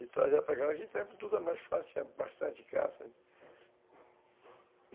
E trazer para casa, tempo, tudo é mais fácil, tinha bastante caça.